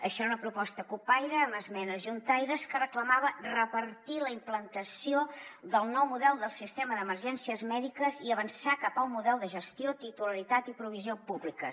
això era una proposta cupaire amb esmenes juntaires que reclamava repartir la implantació del nou model del sistema d’emergències mèdiques i avançar cap a un model de gestió titularitat i provisió públiques